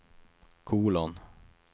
kolon